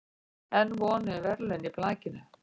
Enn von um verðlaun í blakinu